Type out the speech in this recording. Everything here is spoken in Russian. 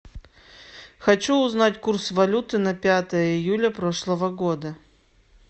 хочу узнать курс валюты на пятое июля прошлого года